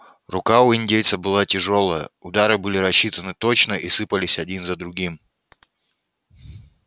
рука у индейца была тяжёлая удары были рассчитаны точно и сыпались один за другим